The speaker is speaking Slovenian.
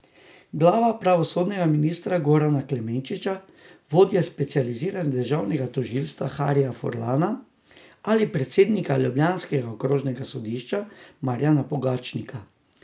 Glava pravosodnega ministra Gorana Klemenčiča, vodje specializiranega državnega tožilstva Harija Furlana ali predsednika ljubljanskega okrožnega sodišča Marjana Pogačnika?